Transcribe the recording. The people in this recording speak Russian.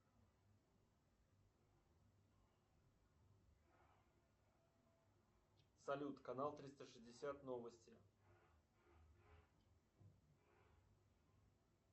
салют канал триста шестьдесят новости